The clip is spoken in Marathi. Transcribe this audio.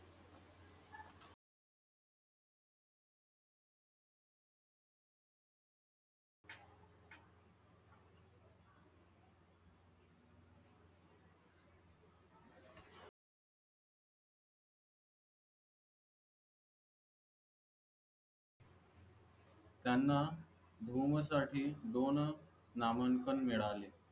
त्यांना धुमसाठी दोन नामांकन मिळाले